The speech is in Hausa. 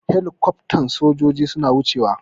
Helicoftan sojojin suna wuce wa.